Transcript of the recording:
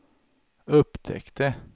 upptäckte